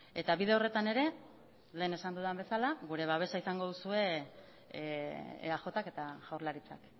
eta bide horretan ere lehen esan dudan bezala gure babesa izango duzue eajk eta jaurlaritzak